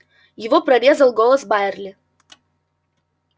его прорезал голос байерли